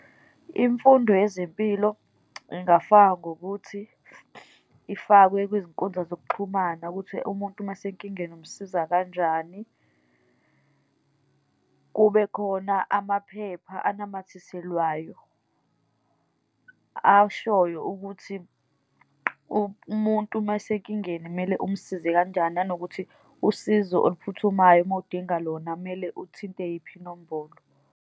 Imfundo yezempilo ingafakwa ngokuthi, ifakwe kwizinkundla zokuxhumana, ukuthi umuntu uma esenkingeni umsiza kanjani. Kube khona amaphepha anamathiselwayo, ashoyo ukuthi umuntu uma esenkingeni kumele umsize kanjani. Nanokuthi usizo oluphuthumayo, uma udinga lona, kumele uthinte yiphi inombolo.